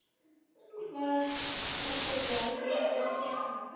Hann sagði: Hvar heldurðu að þú hafir séð hana?